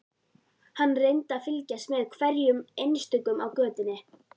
Hann reyndi að fylgjast með hverjum einstökum á götunni.